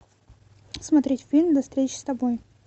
смотреть фильм до встречи с тобой